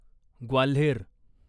Gwalior